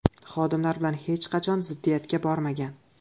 Xodimlar bilan hech qachon ziddiyatga bormagan.